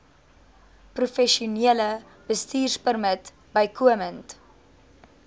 professionele bestuurpermit bykomend